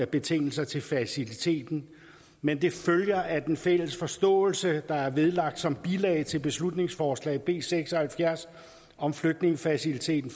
betingelser til faciliteten men det følger af den fælles forståelse der er vedlagt som bilag til beslutningsforslag nummer b seks og halvfjerds om flygtningefaciliteten